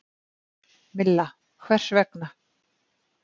Milla: Hvers vegna?